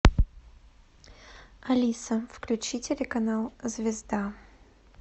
алиса включи телеканал звезда